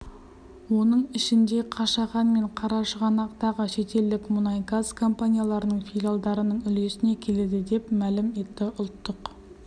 оның ішінде қашаған мен қарашығанақтағы шетелдік мұнайгаз компанияларының филиалдарының үлесіне келеді деп мәлім етті ұлттық